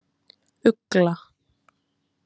Ugla